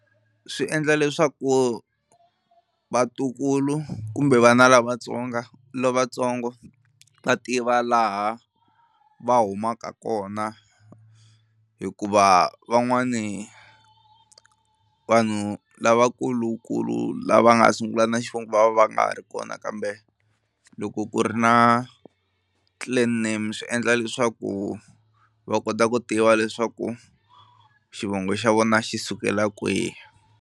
Swi endla leswaku vatukulu kumbe vana lavatsonga lavatsongo va tiva laha va humaka kona hikuva van'wani vanhu lavakulukulu lava nga sungula na xivongo va nga ha ri kona kambe loko ku ri na clan name swi endla leswaku va kota ku tiva leswaku xivongo xa vona xi sukela kwihi.